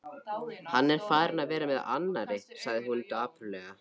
Hann er farinn að vera með annarri, sagði hún dapurlega.